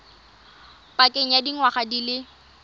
pakeng ya dingwaga di le